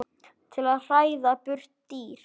til að hræða burt dýr.